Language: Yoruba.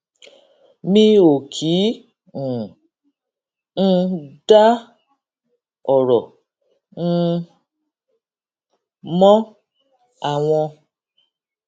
mi ò kí um n dá òrò um mọ àwọn